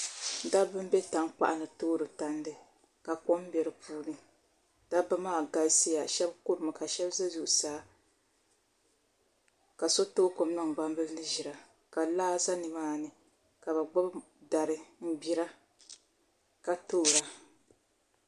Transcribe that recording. Dabba n bɛ tankpaɣu ni toori tandi ka kom bɛ di puuni dabba maa galisiya shab kurimi ka shab bɛ zuɣusaa ka so too kom niŋ gbambili ni ʒira ka laa ʒɛ nimaani ka bi gbubi dari n gbira ka toora